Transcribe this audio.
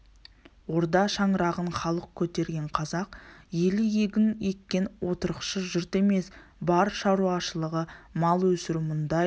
орда шаңырағын халық көтерген қазақ елі егін еккен отырықшы жұрт емес бар шаруашылығы мал өсіру мұндай